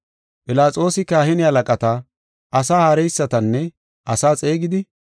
Philaxoosi kahine halaqata, asaa haareysatanne asaa xeegidi,